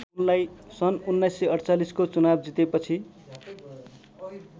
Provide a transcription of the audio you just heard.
सन् १९४८ को चुनाव जितेपछि